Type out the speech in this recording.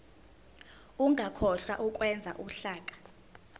ungakhohlwa ukwenza uhlaka